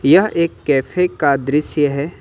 यह एक कैफे का दृश्य है।